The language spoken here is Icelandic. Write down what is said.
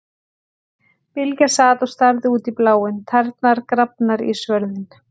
Bylgja sat og starði út í bláinn, tærnar grafnar í svörðinn.